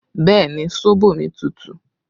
Bẹẹ ni, sóbò mi tútù